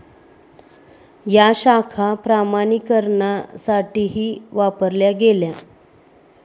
या शाखा प्रमाणीकरणासाठीही वापरल्या गेल्या.